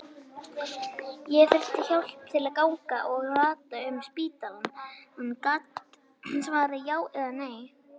Ári síðar birti hann niðurstöður doktorsritgerðarinnar í ýtarlegri tímaritsgrein.